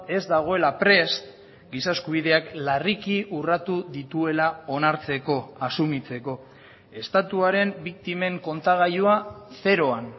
ez dagoela prest giza eskubideak larriki urratu dituela onartzeko asumitzeko estatuaren biktimen kontagailua zeroan